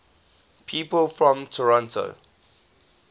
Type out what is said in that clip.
people from toronto